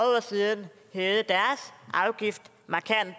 år siden hævede deres afgift markant